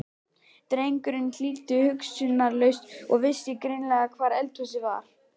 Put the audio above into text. Drengurinn hlýddi hugsunarlaust og vissi greinilega hvar eldhúsið var.